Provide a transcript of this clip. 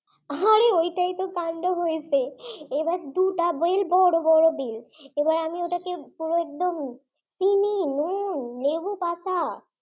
আরে ওইটাই তো তান্ডব হয়েছে, এবার দুটা বেল বড় বড় বেল এবার আমি ওটাকে পুরো একদম চিনি নুন লেবু পাতা